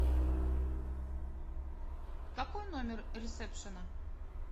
какой номер ресепшена